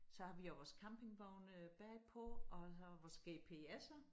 Så har vi jo vores campingvogne bagpå og så vores gps'er